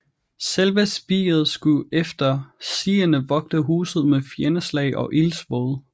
Selve spiret skulle efter sigende vogte huset mod fjendeslag og ildsvåde